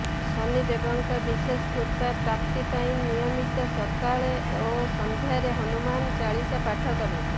ଶନିଦେବଙ୍କ ବିଶେଷ କୃପା ପ୍ରାପ୍ତି ପାଇଁ ନିୟମିତ ସକାଳେ ଓ ସନ୍ଧ୍ୟାରେ ହନୁମାନ ଚାଲିସା ପାଠ କରନ୍ତୁ